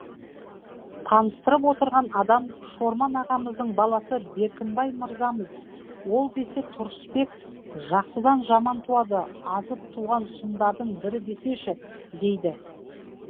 таныстырып отырған адам шорман ағамыздың баласы беркінбай мырзамыз ол десе тұрысбек жақсыдан жаман туады азып туған сұмдардың бірі десеші дейді